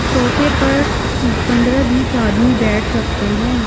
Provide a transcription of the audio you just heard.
सोफे परपंद्रह-बीसआदमी बैठ सकते हैं।